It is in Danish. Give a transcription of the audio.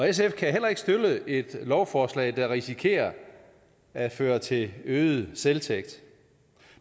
sf kan heller ikke støtte et lovforslag der risikerer at føre til øget selvtægt